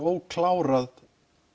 óklárað